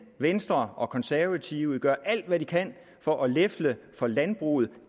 venstre og konservative gør alt hvad de kan for at lefle for landbruget